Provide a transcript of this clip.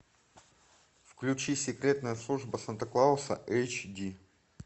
включи секретная служба санта клауса эйч ди